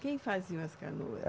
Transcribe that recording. Quem faziam as canoas?